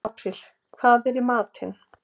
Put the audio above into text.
Apríl, hvað er í matinn?